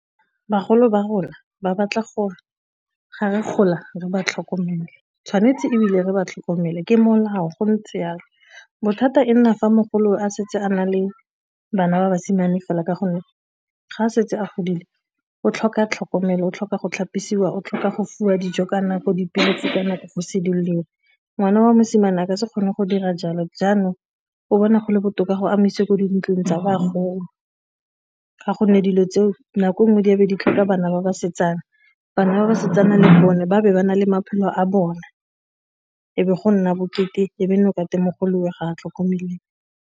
Bagolo ba rona ba batla gore ga re gola re ba tlhokomele, tshwanetse ebile re ba tlhokomele ke molao go ntse jalo bothata e nna fa mogolo o a setse a na le bana ba basimane fela ka gonne ga a setse a godile o tlhoka tlhokomelo, o tlhoka go tlhapisiwa o tlhoka go fiwa dijo ka nako dipilisi ka nako go se duedisiwe ngwana wa mosimane a ka se kgone go dira jalo jaanong o bona gole botoka go a isiwe kwa dintlong tsa bagolo, ka gonne dilo tseo nako nngwe di be di tlhoka bana ba basetsana bana ba basetsana le bone ba be ba na le maphelo a bone e be go nna bokete e be nna o mogolowe ga a tlhokomeliwe.